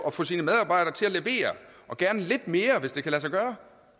at få sine medarbejdere til at levere og gerne lidt mere hvis det kan lade sig gøre